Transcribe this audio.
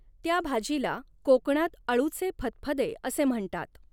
त्या भाजीला कोंकणात अळूचे फदफदे असे म्हणतात.